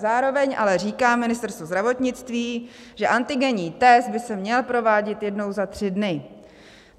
Zároveň ale říká Ministerstvo zdravotnictví, že antigenní test by se měl provádět jednou za tři dny.